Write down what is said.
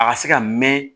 A ka se ka mɛɛn